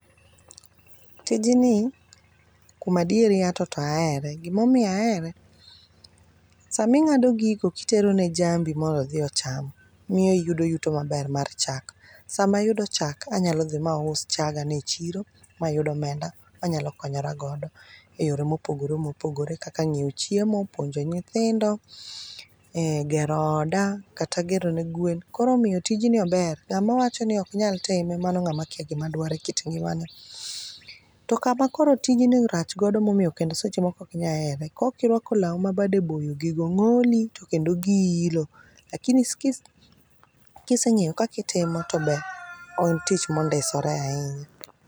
Tijni kuom adier ato to ahere, gima omiyo ahere. Sama ing'ado gigo kitero ne jambi mondo odhi ocham miyo iyudo yuto maber mar chak ,sama ayudo chak, anyalo dhi ma us chaga ni echiro ma yud omenda anyalo konyora godo eyore mopogore mopogore kaka ng'iewo chiemo, puonjo nyithindo, gero oda, kata gero ne gwen. koro omiyo tijni ober ng'ama wachoni ok nyal time mano ng'ama kia gima dwaro ekit ngimane. To kama koro tijni rach godo mondo momiyo kendo seche moko ok inyal here, ka ok irwako law mabade boyo, gigo ng'oli to kendo gi ilo. Lakini kiseng'eyo kaka itimo to ber. En tich mondisore ahinya